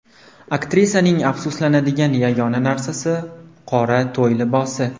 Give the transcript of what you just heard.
Aktrisaning afsuslanadigan yagona narsasi – qora to‘y libosi.